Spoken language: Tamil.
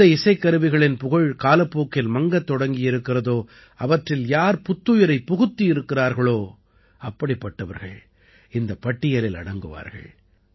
எந்த இசைக்கருவிகளின் புகழ் காலப்போக்கில் மங்கத் தொடங்கியிருக்கிறதோ அவற்றில் யார் புத்துயிரைப் புகுத்தியிருக்கிறார்களோ அப்படிப்பட்டவர்கள் இந்தப் பட்டியலில் அடங்குவார்கள்